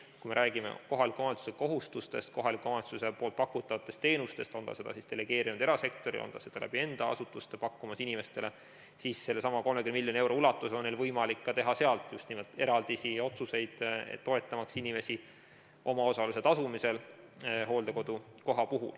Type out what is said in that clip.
Kui me räägime kohaliku omavalitsuse kohustustest, kohaliku omavalitsuse pakutavatest teenustest, on ta selle osutamise siis delegeerinud erasektorile või on ta seda enda asutuste kaudu pakkumas inimestele, siis sellesama 30 miljoni euro ulatuses on neil võimalik teha sealt just nimelt eraldisi ja otsuseid selle kohta, toetamaks inimesi omaosaluse tasumisel hooldekodukoha eest.